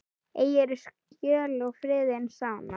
Eigirðu skjól og friðinn sanna.